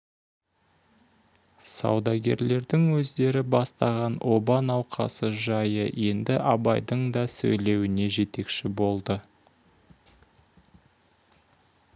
саудагерлердің өздері бастаған оба науқасы жайы енді абайдың да сөйлеуіне жетекші болды